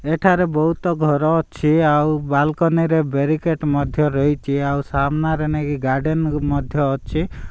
ଏଠାରେ ବହୁତ ଘର ଅଛି ଆଉ ବାଲକୋନୀ ରେ ବେରିକେଡ ମଧ୍ୟ ରହିଛି ଆଉ ସାମ୍ନାରେ ନେଇକି ଗାର୍ଡେନ ମଧ୍ୟ ଅଛି।